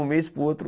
Um mês para o outro.